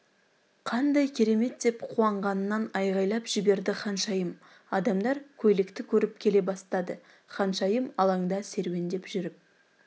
қандай керемет деп қуанғанынан айғайлап жіберді ханшайым адамдар көйлекті көріп келе бастады ханшайым алаңда серуендеп жүріп